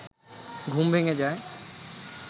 ঘুম ভেঙে যায়